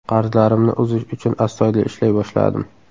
Qarzlarimni uzish uchun astoydil ishlay boshladim.